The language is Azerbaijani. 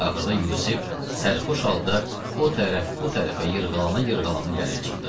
Axırda Yusif sərxoş halda o tərəf, bu tərəfə yırğalana-yırğalana gəlib çıxdı.